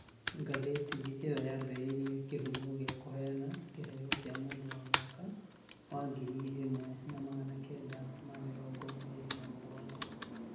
Ngathĩti ĩyo yaambĩrĩirie kĩhumo gĩa kũheana kĩheo kĩa Mũndũ wa Mwaka wa ngiri ĩmwe na magana kenda ma mĩrongo ĩrĩ na mũgwanja.